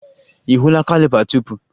Ị hụla caliper tupu?